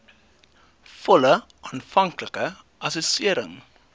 volle aanvanklike assessering